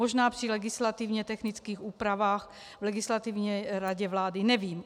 Možná při legislativně technických úpravách v Legislativní radě vlády, nevím.